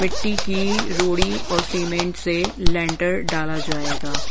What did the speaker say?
मिट्टी की रोड़ी और सीमेंट से लेंटर डाला जाएगा।